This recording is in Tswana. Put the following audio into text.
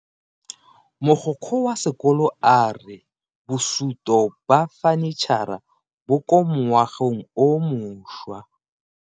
Mogokgo wa sekolo a re bosuto ba fanitšhara bo kwa moagong o mošwa.